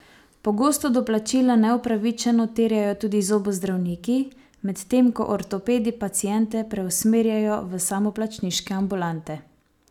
Pogosto doplačila neupravičeno terjajo tudi zobozdravniki, medtem ko ortopedi paciente preusmerjajo v samoplačniške ambulante.